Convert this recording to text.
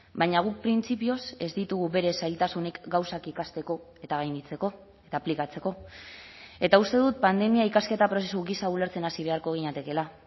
baina guk printzipioz ez ditugu bere zailtasunik gauzak ikasteko eta gainditzeko eta aplikatzeko eta uste dut pandemia ikasketa prozesu gisa ulertzen hasi beharko ginatekeela